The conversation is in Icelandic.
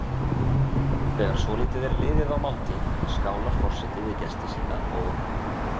Þegar svolítið er liðið á máltíð skálar forseti við gesti sína og